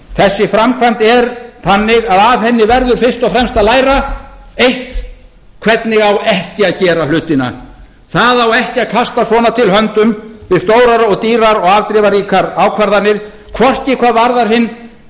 þessi framkvæmd er þannig að af henni verður fyrst og fremst að læra eitt hvernig á ekki að gera hlutina það á ekki að kasta svona til höndum við stórar og dýrar og afdrifaríkar ákvarðanir hvorki hvað varðar hinn